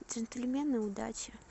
джентльмены удачи